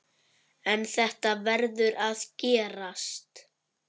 En þetta verður að gerast.